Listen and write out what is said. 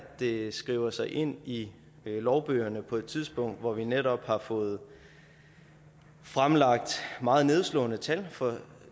det skriver sig ind i lovbøgerne på et tidspunkt hvor vi netop har fået fremlagt meget nedslående tal for